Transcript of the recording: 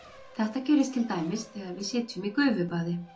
Þetta gerist til dæmis þegar við sitjum í gufubaði.